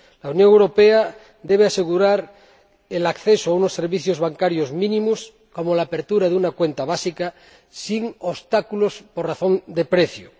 La Unión Europea debe asegurar el acceso a unos servicios bancarios mínimos, como la apertura de una cuenta básica, sin obstáculos por razón de precio.